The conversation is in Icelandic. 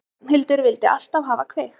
Ragnhildur vildi alltaf hafa kveikt.